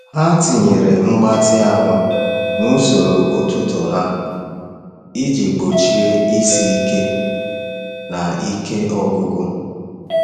Ha tinyere mgbatị ahụ n’usoro ụtụtụ ha iji gbochie isi ike na ike ọgwụgwụ.